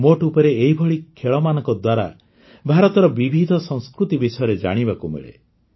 ମୋଟ ଉପରେ ଏହିଭଳି ଖେଳମାନଙ୍କ ଦ୍ୱାରା ଭାରତର ବିବିଧ ସଂସ୍କୃତି ବିଷୟରେ ଜାଣିବାକୁ ମିଳେ